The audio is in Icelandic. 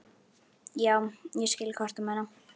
Já, ég skil hvað þú ert að meina.